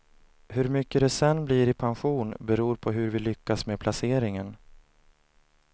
Hur mycket det sedan blir i pension beror på hur vi lyckas med placeringen.